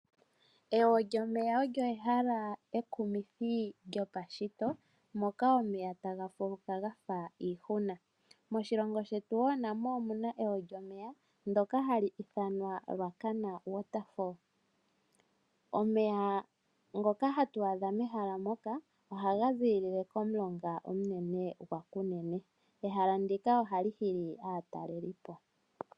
Ewo lyomeya olyo ehala ekumithi lyopashito moka omeya taga kuluka gafa iihuna. Moshilongo shetu wo namo omuna ewo lyomeya ndoka hali ithanwa Ruacana Waterfall. Omeya ngoka hatu adha mehala moka ohaga ziilile komulonga omunene gwaKunene. Ehala ndika ohali hili aatalelipo.